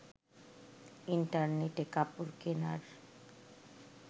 ইন্টারনেটে কাপড় কেনার